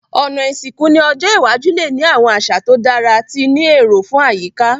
Òná ìsìnkú ni ọjọ́ iwájú le ni àwon àsà to dára ti ni éró fun àyíká